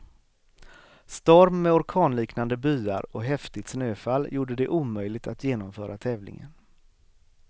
Storm med orkanliknande byar och häftigt snöfall gjorde det omöjligt att genomföra tävlingen.